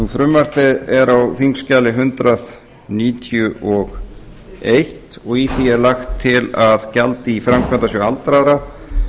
frumvarpið er er á þingskjali hundrað níutíu og eins og í því er lagt til að gjald í framkvæmdasjóð aldraðra